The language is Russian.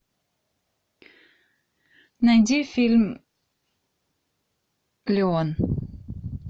найди фильм леон